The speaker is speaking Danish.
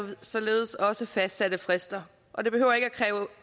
således også fastsatte frister og det behøver ikke at kræve